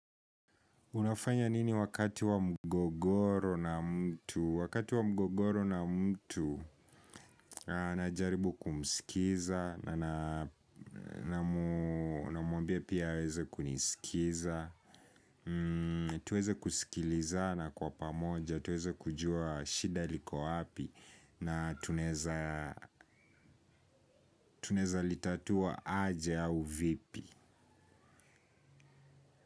Unafanya nini wakati wa mgogoro na mtu? Wakati wa mgogoro na mtu najaribu kumsikiza na namuambia pia aweze kunisikiza. Tuweze kusikilizana kwa pamoja tuweze kujua shida liko wapi na tunaeza litatua aje au vipi.